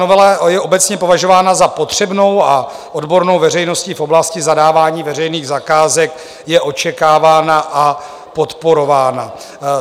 Novela je obecně považována za potřebnou a odbornou veřejností v oblasti zadávání veřejných zakázek je očekávána a podporována.